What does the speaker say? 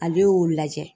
A bɛ o lajɛ